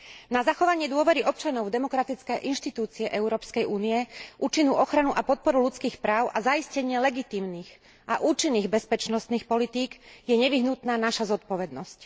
Na zachovanie dôvery občanov v demokratické inštitúcie Európskej únie, účinnú ochranu a podporu ľudských práv a zaistenie legitímnych a účinných bezpečnostných politík je nevyhnutná naša zodpovednosť.